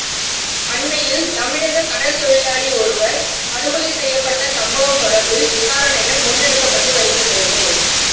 அண்மையில் தமிழக கடற்தொழிலாளி ஒருவர் படுகொலை செய்யப்பட்ட சம்பவம் தொடர்பில் விசாரணைகள் முன்னெடுக்கப்பட்டு வருகின்றது